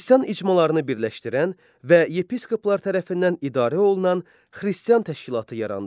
Xristian icmalarını birləşdirən və yepiskoplar tərəfindən idarə olunan Xristian təşkilatı yarandı.